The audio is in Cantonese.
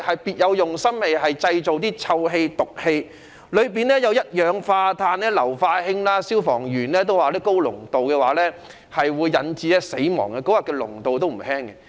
別有用心的人投擲物品，釋放臭氣、毒氣，當中所含一氧化碳和硫化氫的濃度不低，而消防員也說高濃度可致人死亡。